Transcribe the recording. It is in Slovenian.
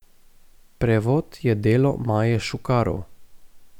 Prevod je delo Maje Šukarov.